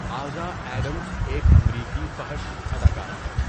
آزا Adams ایک امریکی فحش اداکارہ ہے